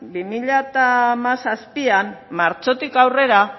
bi mila hamazazpian martxotik aurrera